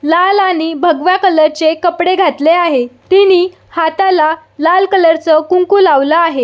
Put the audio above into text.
लाल आणि भगव्या कलरचे कपडे घातले आहे तिनि हाताला लाल कलरच कुंकू लावल आहे.